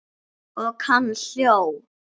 Og hann hló.